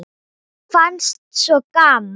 Mér fannst svo gaman!